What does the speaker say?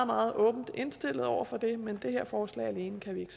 meget åbent indstillet over for det men det her forslag alene kan vi